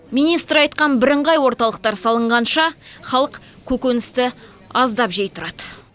министр айтқан бірыңғай орталықтар салынғанша халық көкөністі аздап жей тұрады